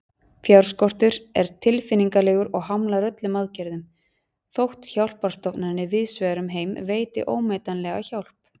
Fjárskortur er tilfinnanlegur og hamlar öllum aðgerðum, þótt hjálparstofnanir víðsvegar um heim veiti ómetanlega hjálp.